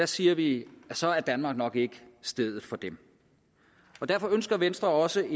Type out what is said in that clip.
siger vi at så er danmark nok ikke stedet for dem derfor ønsker venstre også